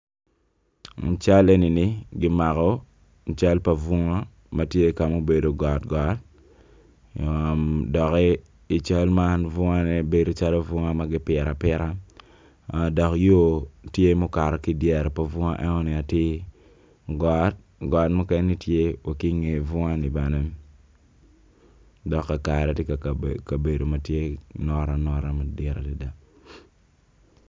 Cal eni kimako cal pa bunga ma tye ka ma obedo gotgot doki i cal man bedo calo bunga ma kipito apita dok yo tye ma okato ki i dyere pa bunga enoni atir got mukene tye ki i nge bunga ni bene dok kakare tye obedo notanota madit adada.